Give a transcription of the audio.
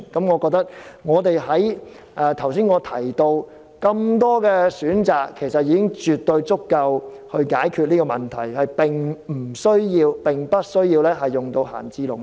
我認為，我剛才提出的多個選項已絕對足以解決問題，無需動用閒置農地。